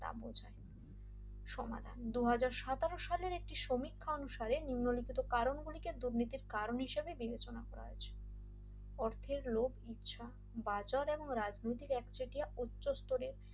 সমাধান দুই হাজার সতেরো সালের একটি সমীক্ষা অনুসারে নিম্নলিখিত কারণগুলিকে দুর্নীতির কারণ হিসেবে বিবেচনা করা হয়েছে অর্থের লোভ ইচ্ছা বাজার এবং এক রাজনৈতিক একচেটিয়া উচ্চস্থরিও